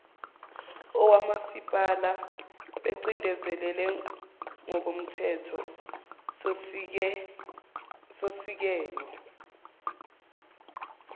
awomasipala bacindezelekile ngokomthethosisekelo